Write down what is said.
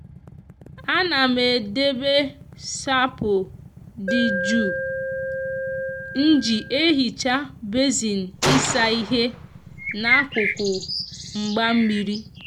a na m e debe sapo di ju nji ehicha besin isa ihe na akuku mgba mmiri.